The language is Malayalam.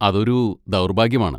അതൊരു ദൗർഭാഗ്യമാണ്.